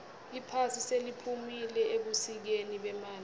iphasi seliphumile ebusikeni bemali